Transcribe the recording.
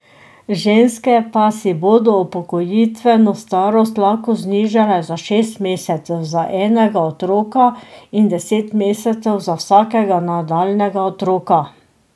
Ženske pa si bodo upokojitveno starost lahko znižale za šest mesecev za enega otroka in deset mesecev za vsakega nadaljnjega otroka.